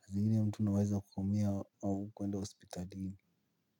Sa zingine mtu unaweza kuumia au kuwenda hospitalini.